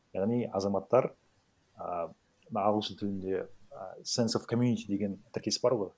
яғни азаматтар і мына ағылшын тілінде і сенс оф коммьюнити деген тіркес бар ғой